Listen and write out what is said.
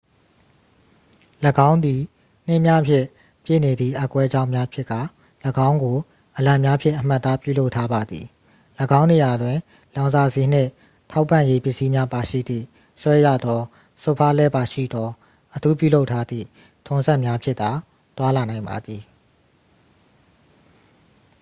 ၎င်းသည် နှင်းများဖြင့်ပြည့်နေသည့် အက်ကွဲကြောင်းများဖြစ်ကာ ၎င်းကို အလံများဖြင့် အမှတ်အသား ပြုလုပ်ထားပါသည် ၎င်းနေရာတွင် လောင်စာဆီနှင့် ထောက်ပံ့ရေး ပစ္စည်းများပါရှိသည့် ဆွဲရသောစွတ်ဖားလှည်းပါရှိသော အထူးပြုလုပ်ထားသည့် ထွန်စက်များဖြင့်သာ သွားလာနိုင်ပါသည်